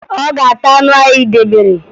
Ọ ga-ata anụ ahụ ị debere